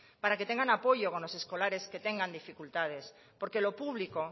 para que tengan apoyo con los escolares que tengan dificultades porque lo público